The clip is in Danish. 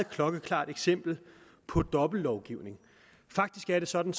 klokkeklart eksempel på dobbeltlovgivning faktisk er det sådan